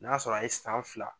N'a sɔrɔ a ye san fila